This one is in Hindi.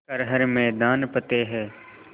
कर हर मैदान फ़तेह